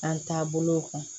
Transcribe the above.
An taabolow kan